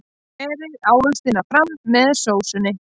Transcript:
Berið ávextina fram með sósunni.